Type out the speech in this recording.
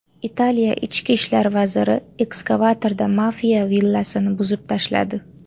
Italiya ichki ishlar vaziri ekskavatorda mafiya villasini buzib tashladi.